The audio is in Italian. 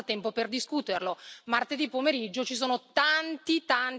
Martedì pomeriggio ci sono tanti, tanti temi all'ordine del giorno, ma per noi non è un problema.